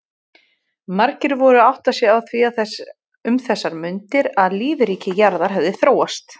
Margir voru að átta sig á því um þessar mundir að lífríki jarðar hefði þróast.